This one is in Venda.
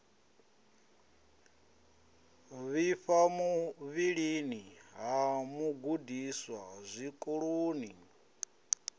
vhifha muvhilini ha mugudiswa zwikoloni